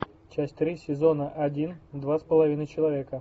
часть три сезона один два с половиной человека